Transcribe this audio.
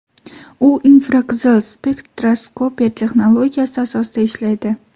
U infraqizil spektroskopiya texnologiyasi asosida ishlaydi.